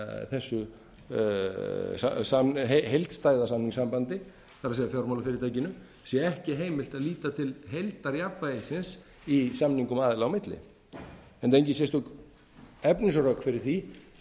þessu heildstæða samningssambandi það er fjármálafyrirtækinu sé ekki heimilt að líta til heildarjafnvægisins í samningum aðila á milli enda engin sérstök efnisrök fyrir því